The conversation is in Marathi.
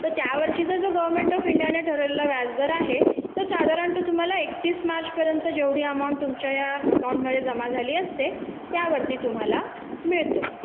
तर त्यावर्षी जर भारतीय सरकारने जो ठरवलेला व्याजदर आहे तो साधारणतः तुम्हाला एकतीस मार्चपर्यंत जी रक्कम जमा झालेले असते त्यावरती मिळतो